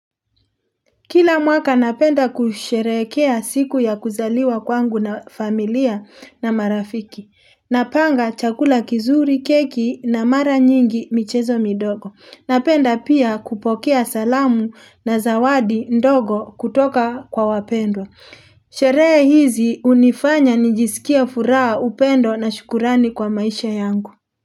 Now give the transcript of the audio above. Kila mwaka napenda kusherehekea siku ya kuzaliwa kwangu na familia na marafiki. Napanga chakula kizuri, keki na mara nyingi michezo midogo. Napenda pia kupokea salamu na zawadi ndogo kutoka kwa wapendwa Sherehe hizi unifanya nijisikie furaha upendo na shukurani kwa maisha yangu.